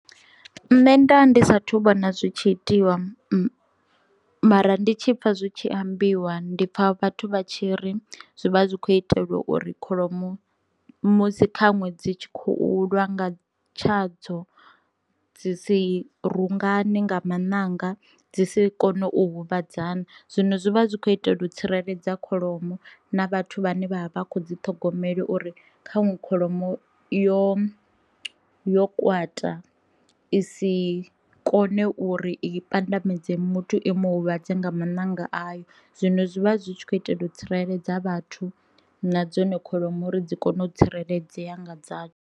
Nṋe nda ndi sathu vhona zwi tshi itiwa mara ndi tshi pfha zwi tshi ambiwa ndi pfha vhathu vha tshi ri zwivha zwi kho itelwa uri kholomo musi kha ṅwe dzi tshi khou lwa nga tshadzo dzi si rungane nga maṋanga dzi si kone u huvhadzana. Zwino zwi vha zwi khou itela u tsireledza kholomo na vhathu vhane vha vha vha kho dzi ṱhogomelwe uri kha ṅwe kholomo yo yo kwata i si kone uri i pandamedze muthu imu huvhadze nga maṋanga ayo, zwino zwivha zwi tshi khou itela u tsireledza vhathu na dzone kholomo uri dzi kone u tsireledzea nga dza.